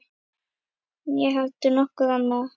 Né heldur nokkur annar.